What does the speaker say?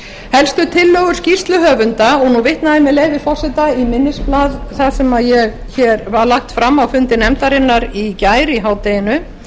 helstu tillögur skýrsluhöfunda og a vitna ég með leyfi forseta í minnisblað það sem var lagt fram á fundi nefndarinnar í gær í hádeginu